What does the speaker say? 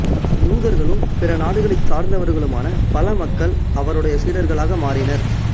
யூதர்களும் பிற நாடுகளைச் சார்ந்தவர்களுமான பல மக்கள் அவருடைய சீடர்களாக மாறினர்